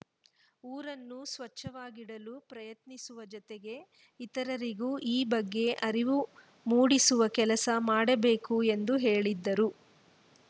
ಊರನ್ನೂ ಸ್ವಚ್ಛವಾಗಿಡಲು ಪ್ರಯತ್ನಿಸುವ ಜೊತೆಗೆ ಇತರರಿಗೂ ಈ ಬಗ್ಗೆ ಅರಿವು ಮೂಡಿಸುವ ಕೆಲಸ ಮಾಡಬೇಕು ಎಂದು ಹೇಳಿದರು